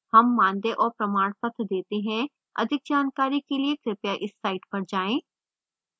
हम मानदेय और प्रमाणपत्र details हैं अधिक जानकारी के लिए कृपया इस site पर जाएँ